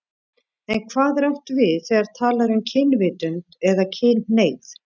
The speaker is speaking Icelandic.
En hvað er átt við þegar talað er um kynvitund eða kynhneigð?